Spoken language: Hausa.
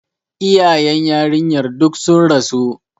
Iyayen yarinyar duk sun rasu.